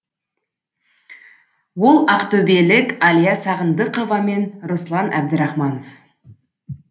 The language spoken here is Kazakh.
ол ақтөбелік әлия сағындықова мен руслан әбдірахманов